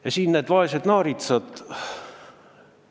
Ja need vaesed naaritsad.